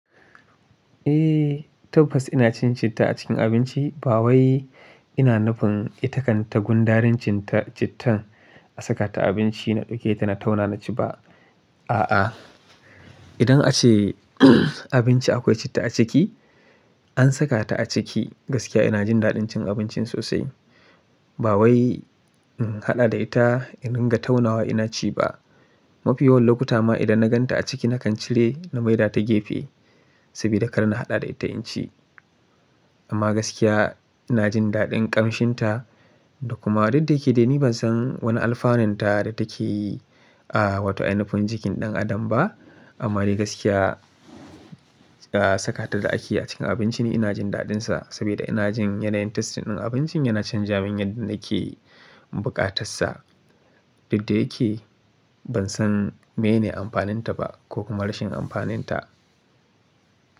Eh, tabbas ina cin citta a cikin abinci. Ba wai ina nufin ita kan tagundaren cittan a saka ta a abinci na ɗauke ta na tauna na ci ba. A'a, idan ace abinci akwai citta a ciki, an saka ta a ciki gaskiya ina jin daɗin cin abincin sosai. Ba wai in haɗa da ita in dinga taunawa ina ci ba. Mafiya wani lokuta ma idan na gan ta a ciki na kan cire na maida ta gefe saboda karnin haɗa da ita in ci. Amma gaskiya ina jin daɗin ƙamshinta da kuma duk da yake dai ni ban san wani alfaninta da take yi a wato ainufin jikin ɗan adam ba. Amma dai gaskiya saka ta da ake a cikin abinci ni ina jin daɗinsa saboda ina jin yanayin tastin ɗin abincin yana canzawa yadda yake buƙatar sa. Duk da yake ban san menene amfaninta ba ko kuma rashin amfaninta.